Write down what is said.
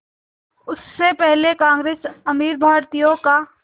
उससे पहले कांग्रेस अमीर भारतीयों का